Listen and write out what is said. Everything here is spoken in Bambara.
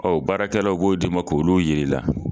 baarakɛlaw o b'o di ma k'olu yiri la.